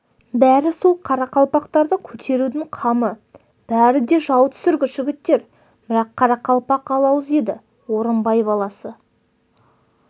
бәрі сол қарақалпақтарды көтерудің қамы бәрі де жау түсіргіш жігіттер бірақ қарақалпақ алауыз еді орынбай баласы